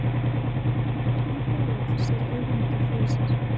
En hvernig flugvöll sér Ögmundur fyrir sér?